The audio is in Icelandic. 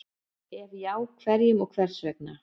Ef já, hverjum og hvers vegna?